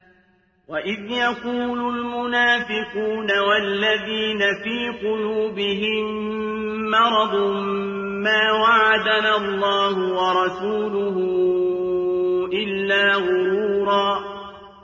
وَإِذْ يَقُولُ الْمُنَافِقُونَ وَالَّذِينَ فِي قُلُوبِهِم مَّرَضٌ مَّا وَعَدَنَا اللَّهُ وَرَسُولُهُ إِلَّا غُرُورًا